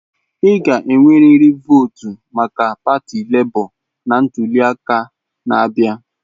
Ị ga-enwerịrị votu maka pati Lebo na ntuli aka na-abịa!